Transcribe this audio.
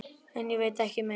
En ég veit ekki meir.